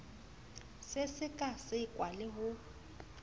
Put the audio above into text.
se seka sekwa le ho